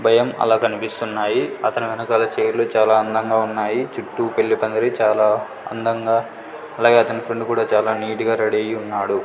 ఉదయం అలా కనిపిస్తున్నాయి అతని వెనకాల చైర్ లు చాలా అందంగా ఉన్నాయి చుట్టూ పెల్లి పందిరి చాలా అందంగా అలాగే అతని ఫ్రెండ్ కూడా చాలా నీట్ గా రెడీ అయ్యి ఉన్నాడు.